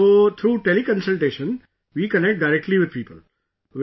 So through Tele Consultation, we connect directly with people...